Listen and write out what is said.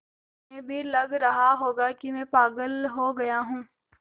तुम्हें भी लग रहा होगा कि मैं पागल हो गया हूँ